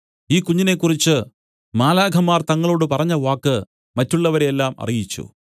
ഈ കുഞ്ഞിനെക്കുറിച്ച് മാലാഖമാർ തങ്ങളോട് പറഞ്ഞവാക്ക് മറ്റുള്ളവരെയെല്ലാം അറിയിച്ചു